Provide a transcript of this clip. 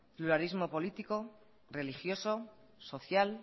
pluralismo político religioso social